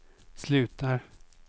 slutar